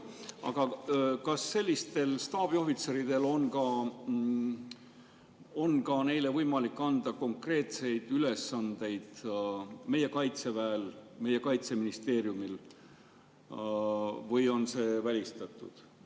Aga kas sellistele staabiohvitseridele on võimalik anda konkreetseid ülesandeid ka meie Kaitseväel ja Kaitseministeeriumil või on see välistatud?